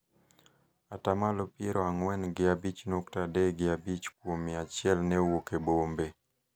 ata malo piero ang'wen gi abich nyukta adek gi abchi kuom mia achiel ne wuok e bombe